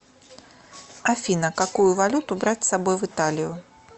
афина какую валюту брать с собой в италию